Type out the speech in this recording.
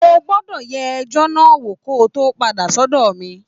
O gbọ́dọ̀ yẹ ẹjọ́ náà wò kó o tó padà sọ́dọ̀ mi